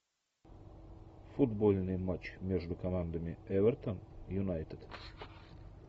футбольный матч между командами эвертон юнайтед